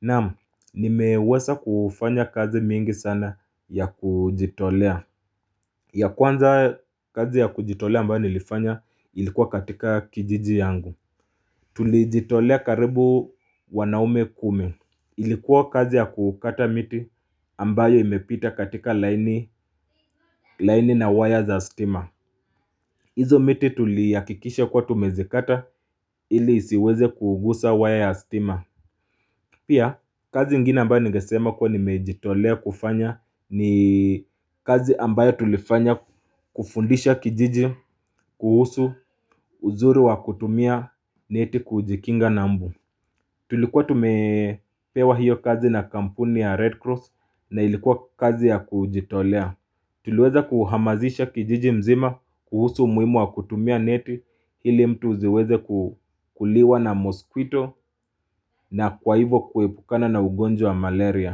Naam nimeweza kufanya kazi mingi sana ya kujitolea ya kwanza kazi ya kujitolea ambayo nilifanya ilikuwa katika kijiji yangu Tulijitolea karibu wanaume kumi Ilikuwa kazi ya kukata miti ambayo imepita katika laini na waya za stima Izo miti tulihakikisha kuwa tumezikata ili isiweze kuguza waya ya stima Pia, kazi ingine ambayo nigesema kuwa nimejitolea kufanya ni kazi ambayo tulifanya kufundisha kijiji kuhusu uzuri wa kutumia neti kujikinga na mbu Tulikuwa tumepewa hiyo kazi na kampuni ya Red Cross na ilikuwa kazi ya kujitolea Tuliweza kuhamazisha kijiji mzima kuhusu umuhimu wa kutumia neti ili mtu ziweze kuliwa na moskwito na kwa hivyo kuepukana na ugonjwa malaria.